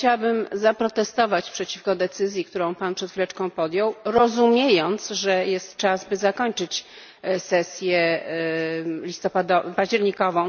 Chciałabym zaprotestować przeciwko decyzji, którą Pan przed chwileczką podjął, rozumiejąc, że jest czas, by zakończyć sesję październikową.